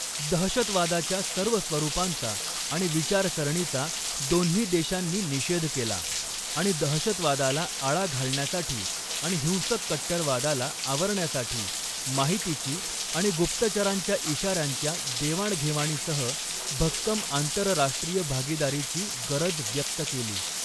दहशतवादाच्या सर्व स्वरुपांचा आणि विचारसरणीचा दोन्ही देशांनी निषेध केला आणि दहशतवादाला आळा घालण्यासाठी आणि हिंसक कट्टरवादाला आवरण्यासाठी माहितीची आणि गुप्तचऱांच्या इशाऱ्यांच्या देवाणघेवाणीसह भक्कम आंतरराष्ट्रीय भागीदारीची गरज व्यक्त केली.